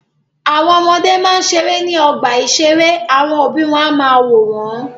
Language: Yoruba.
Àwọn ọmọdé máa ń ṣeré ní ọgbà-ìṣeré àwọn òbí wọn á máa wò wọ́n.